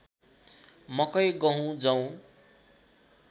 मकै गहुँ जौ